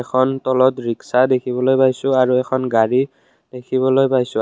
তলত ৰিক্সা দেখিবলৈ পাইছোঁ আৰু এখন গাড়ী দেখিবলৈ পাইছোঁ।